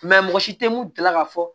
mɔgɔ si tɛ mun jala ka fɔ